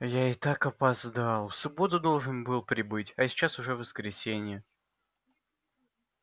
я и так опоздал в субботу должен был прибыть а сейчас уже воскресенье